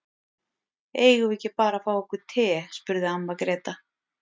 Eigum við ekki bara að fá okkur te, spurði amma Gréta.